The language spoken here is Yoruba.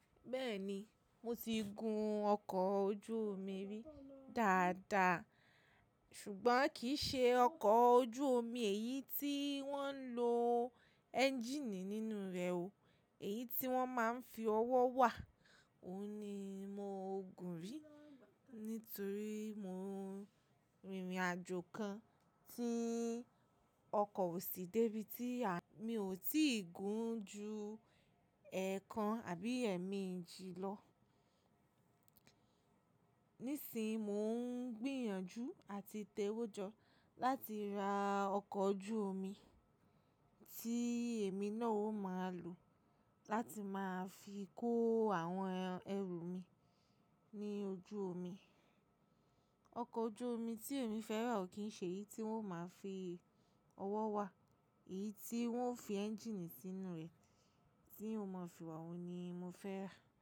Bẹ́ẹ̀ni, mo ti gun ọkọ̀ ojú omi rí dáadáa, ṣùgbọ́n kì í ṣe ọkọ̀ ojú omi èyí tí wọ́n ń lo ẹ́ńjíìnì nínú rẹ̀ o, èyí tí wọ́n máa ń fi ọwọ́ wà óun ni mo gùn rí. Nítorí mo rìnrìn àjò kan tí ọkọ̀ ò sí dé bí tí a-- mi ò tí ì gun ju ẹ̀ẹ̀kan àbí ẹ́ẹ̀méjì lọ. Nísìnyi mo ń gbìyànjú àti tẹ owó jọ láti ra ọkọ̀ ojú omi tí èmi náà ó máa lò láti máa fi kó àwọn ẹrù mi ní ojú omi. Ọkọ̀ ojú omi tí èmi fẹ́ rà ò kí ń ṣe èyí tí wọ́n ó máa ń fi ọwọ́ wà, èyí tí wọ́n fi ẹ́ńjíìnì sínú rẹ̀ tí eeyan ó mọ̀ fi wà óun ni mo fẹ́ rà.